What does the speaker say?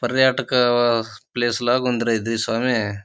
పర్యాటక ప్లేస్ ల ఉంది ర ఇది సామే.